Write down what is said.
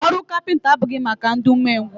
Ọrụ kapịnta abụghị maka ndị ume ngwụ.